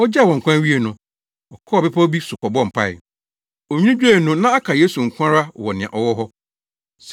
Ogyaa wɔn kwan wiee no, ɔkɔɔ bepɔw bi so kɔbɔɔ mpae. Onwini dwoe no, na aka Yesu nko ara wɔ nea ɔwɔ hɔ.